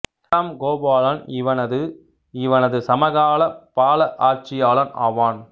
இரண்டாம் கோபாலன் இவனது இவனது சமகால பால ஆட்சியாளன் ஆவான்